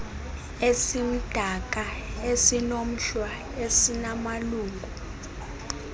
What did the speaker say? esimdaka esinomhlwa esinamalungu